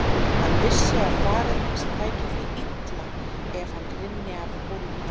Hann vissi að faðir hans tæki því illa ef hann rynni af hólmi.